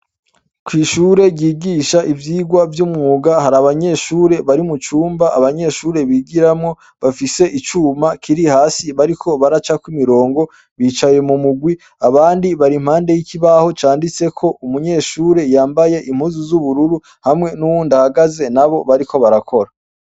Kw'ishure ryigisha ivyigwa vy'umwuga hari abanyeshure bari mu cumba abanyeshure bigiramwo bafise icuma kiri hasi bariko baracako imirongo bicaye mu mugwi abandi barimpande y'ikibaho canditse ko umunyeshure yambaye impuzu z'ubururu hamwe n'uwundihagaze na bo bariko barakora.